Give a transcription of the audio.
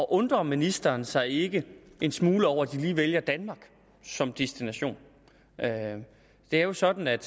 undrer ministeren sig ikke en smule over at de lige vælger danmark som destination det er jo sådan at